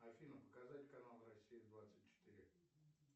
афина показать канал россия двадцать четыре